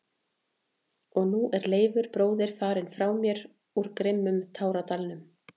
Og nú er Leifur bróðir farinn frá mér úr grimmum táradalnum.